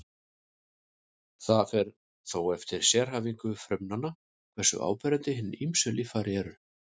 Það fer þó eftir sérhæfingu frumnanna hversu áberandi hin ýmsu líffæri eru.